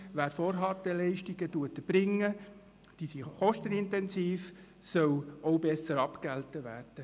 Wer Vorhalteleistungen erbringt – diese sind kostenintensiv –, soll auch besser abgegolten werden.